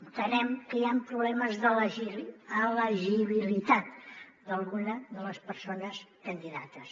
entenem que hi han problemes d’elegibilitat d’alguna de les persones candidates